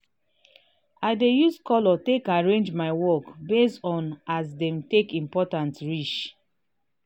i dey use color take arrange my work based on as dem take important reach.